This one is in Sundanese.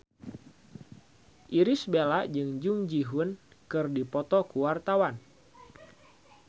Irish Bella jeung Jung Ji Hoon keur dipoto ku wartawan